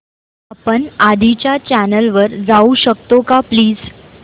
आपण आधीच्या चॅनल वर जाऊ शकतो का प्लीज